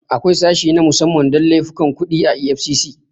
Akwai sashe na musamman don laifukan kuɗi a EFCC.